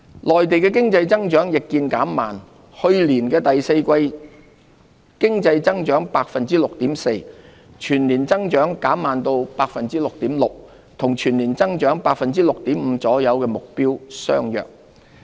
內地經濟增長亦見減慢，去年第四季經濟增長 6.4%， 全年增長減慢至 6.6%， 與全年增長 6.5% 左右的目標相若。